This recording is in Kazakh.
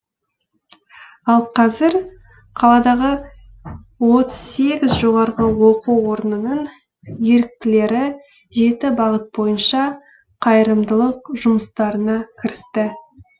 ал қазір қаладағы отыз сегіз жоғарғы оқу орнының еріктілері жеті бағыт бойынша қайырымдылық жұмыстарына кірісті